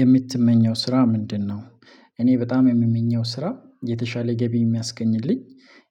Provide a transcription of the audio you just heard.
የምትመኘው ስራ ምንድነው? እኔ በጣም የምመኘው ስራ የተሻለ ገቢ የሚያስገኝልኝ